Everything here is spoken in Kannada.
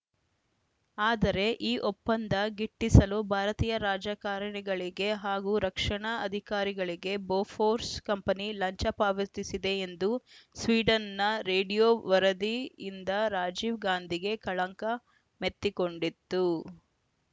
ಆದರೆ ಈ ಒಪ್ಪಂದ ಗಿಟ್ಟಿಸಲು ಭಾರತೀಯ ರಾಜಕಾರಣಿಗಳಿಗೆ ಹಾಗೂ ರಕ್ಷಣಾ ಅಧಿಕಾರಿಗಳಿಗೆ ಬೊಫೋರ್ಸ್‌ ಕಂಪನಿ ಲಂಚ ಪಾವತಿಸಿದೆ ಎಂದು ಸ್ವೀಡನ್‌ನ ರೇಡಿಯೋ ವರದಿಯಿಂದ ರಾಜೀವ್‌ ಗಾಂಧಿಗೆ ಕಳಂಕ ಮೆತ್ತಿಕೊಂಡಿತ್ತು